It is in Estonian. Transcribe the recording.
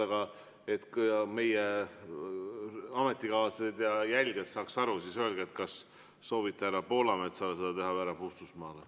Aga et meie ametikaaslased ja jälgijad saaksid aru, siis öelge, kas te soovite esitada selle härra Poolametsale või härra Puustusmaale.